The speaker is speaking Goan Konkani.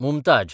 मुमताझ